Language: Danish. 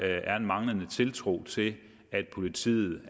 er en manglende tiltro til at politiet